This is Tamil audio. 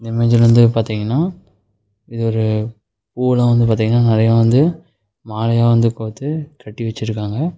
இந்த இமேஜ்ல வந்து பாத்திங்கன்னா இது ஒரு பூவுலா வந்து பாத்திங்கனா நெறையா வந்து மாலையா வந்து கோத்து கட்டி வெச்சிருக்காங்க.